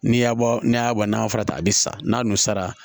N'i y'a bɔ n'a y'a bɔ nakɔ fara ta a bɛ sa n'a n'o sara